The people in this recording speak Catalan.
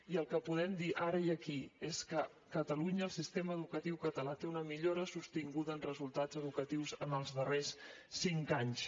i el que podem dir ara i aquí és que a catalunya el sistema educatiu català té una millora sostinguda en resultats educatius en els darrers cinc anys